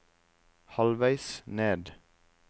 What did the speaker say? halvveis ned